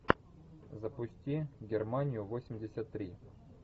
запусти германию восемьдесят три